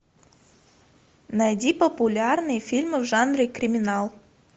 найди популярные фильмы в жанре криминал